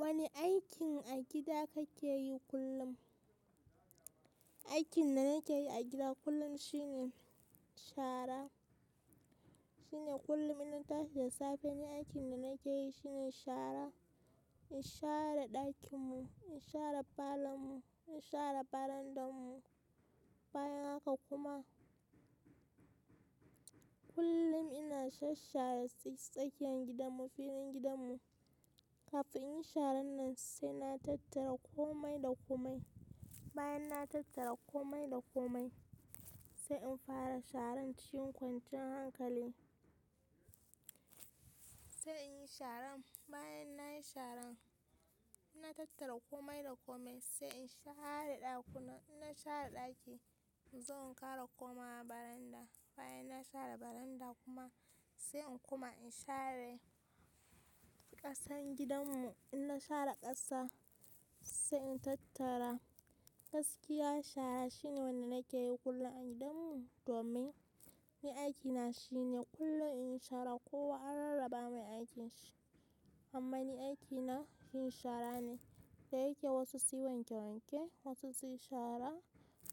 Wani aikin a gida kake yi kullum? Aikin da nake yi a gida kullum shine shara. Shine kullum in na tashi da safe, ni aikin da nake yi shine shara. In share ɗakin mu, in share parlour mu, in share veranda mu. Bayan haka kuma, kullum ina shashshare tsa, tsakiyan gidan mu, filin gidan mu. Kafin in yi sharan nan sai na tattara kome da kome. Bayan na tattara kome da kome, sai in fara sharan cikin kwanciyan hankali. Sai in yi sharan. Bayan nayi sharan, na tattara komai da komai, sai in share ɗakunan. In na share ɗaki in zo in kara koma veranda. Bayan na share veranda kuma sai in kuma in share ƙasan gidan mu. In na share ƙasa sai in tattara. Gaskiya shara shine wanda nake yi kullum a gidan mu, domin ni aikina shine kullum in yi shara kowa an rarraba mai aikinshi. Amma ni aikina yin shara ne. Da yake wasu su yi wanke wanke, wasu su yi shara,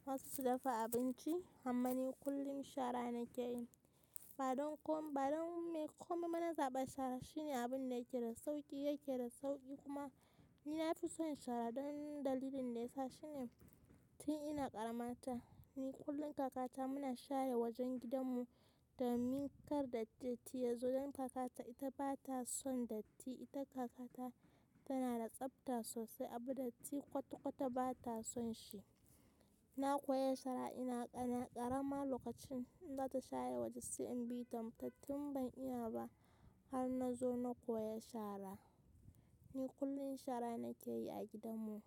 wasu su dafa abinci, amma ni kullum shara nake yi. Ba don kom, ba don kome ba na zaɓa shara shine abin da yake da sauƙi, yake da sauƙi kuma, ni na fi son shara don dalilin da yasa shine, tun ina ƙaramata, ni kullum kakata muna share wajen gidan mu. Domin kar datti yazo don kakata ita ba ta son datti. Ita kakata tana da tsabta sosai, abu datti kwata kwata ba ta son shi. Na koya shara ina ƙarama lokacin, in zata share waje sai in bi ta mu taf tun ban iya ba. Har na zo na koya shara. Ni kullum shara nake yi a gidan mu.